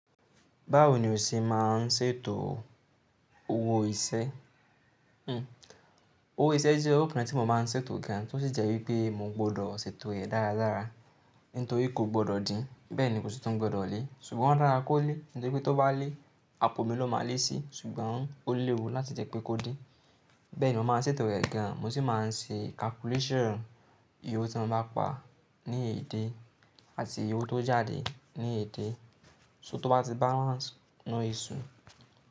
Báwo ni o ṣe máa ń ṣètò owó iṣẹ́? Owó iṣẹ́ jẹ́ owó kan tí mo máa ń ṣètò gan, tó sì jẹ́ wípé mo gbọ́dọ̀ ṣètò rẹ̀ dáradára, nítorí kò gbọ́dọ̀ dín, bẹ́ẹ̀ ni kò sí tun gbọ́dọ̀ lé, ṣùgbọ́n o dara kó lé, nítorí pé tó bá lé, àpò mi ló máa lé si, ṣùgbọ́n ó léwu láti jẹ́ pé kó din. Bẹ́ẹ̀ ni mo máa ń ṣètò rẹ̀ gan, mo sì máa ń ṣe calculation, ìyè owo ti mo bá pa ní a day àti ìyè tó jáde ní a day, so, tó bá ti balance no issue.